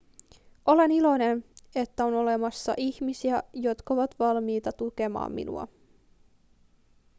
olen iloinen että on olemassa ihmisiä jotka ovat valmiita tukemaan minua